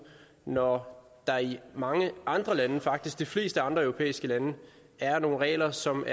når der i mange andre lande faktisk de fleste andre europæiske lande er nogle regler som